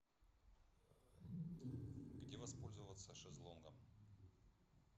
где воспользоваться шезлонгом